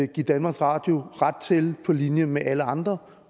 give danmarks radio ret til på linje med alle andre